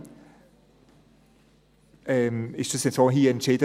Trotzdem wurde es hier so entschieden.